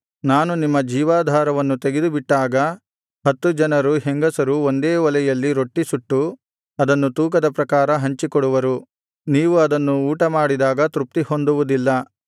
ನಾನು ನಿಮ್ಮ ಜೀವನಾಧಾರವನ್ನು ತೆಗೆದುಬಿಟ್ಟಾಗ ಹತ್ತು ಜನರು ಹೆಂಗಸರು ಒಂದೇ ಒಲೆಯಲ್ಲಿ ರೊಟ್ಟಿಸುಟ್ಟು ಅದನ್ನು ತೂಕದ ಪ್ರಕಾರ ಹಂಚಿಕೊಡುವರು ನೀವು ಅದನ್ನು ಊಟಮಾಡಿದಾಗ ತೃಪ್ತಿಹೊಂದುವುದಿಲ್ಲ